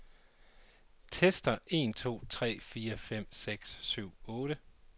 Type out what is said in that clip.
Tester en to tre fire fem seks syv otte.